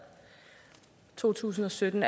i to tusind og sytten